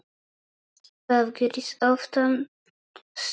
Það gerist oftast með mig.